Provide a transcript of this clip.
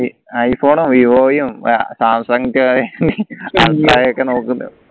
ഈ ഐഫോണും വിവോയും സാംസങ് നോക്കുന്നുണ്ട്